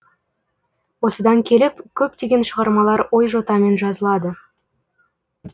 осыдан келіп көптеген шығармалар ой жотамен жазылады